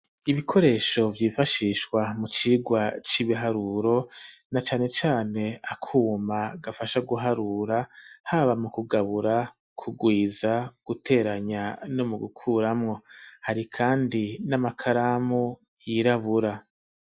Ibikoresho vyifashishwa mu cirwa c'ibiharuro na cane cane akuma kifasha guharura haba mu kugabura ku rwiza guteranya no mu gukuramwo hari kandi n'amakaramu yirabura.